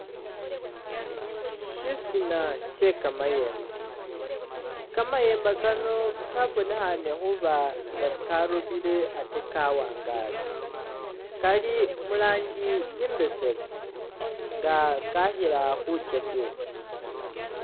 Shisina she'kamayemba ,kamayemba kano kabonekhane khuba nga karobile ate kawangale, kali mulanji imbesemu nga kakhila khukesebwa